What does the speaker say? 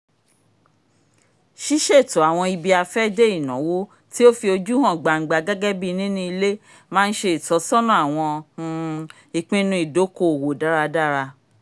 ṣiṣeto awọn ibi-afẹde ìnáwó ti o fi ojú hàn gbangba gẹgẹbi nini ilé má nṣe ìtọ́sọ́nà awọn um ìpinnu ìdòko-òwò dáradára